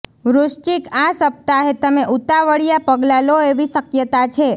વૃશ્ચિક આ સપ્તાહે તમે ઉતાવળિયા પગલાં લો એવી શક્યતા છે